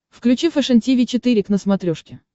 включи фэшен тиви четыре к на смотрешке